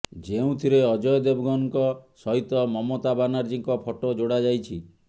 ଯେଉଁଥିରେ ଅଜୟ ଦେବଗନ୍ଙ୍କ ସହିତ ମମତା ବନାର୍ଜୀଙ୍କ ଫଟୋ ଯୋଡା ଯାଇଛି